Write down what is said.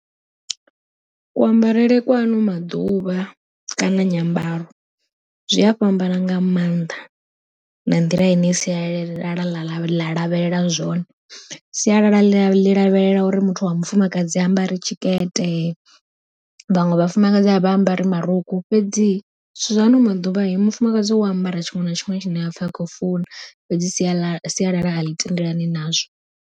Kuambarele kwa ano maḓuvha kana nyambaro zwi a fhambana nga maanḓa, na nḓila ine sialala ḽa lavhelela zwone. Sialala ḽi lavhelela uri muthu wa mufumakadzi ambare tshikete, vhaṅwe vhafumakadzi a vha ambari marukhu fhedzi zwithu zwa ano maḓuvha mufumakadzi u ambara tshiṅwe na tshiṅwe tshine a apfha akho funa fhedzi sia sialala a ḽi tendelani nazwo.